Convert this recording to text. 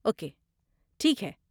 Okay, ٹھیک ہے۔